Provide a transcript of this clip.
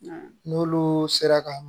N'olu sera ka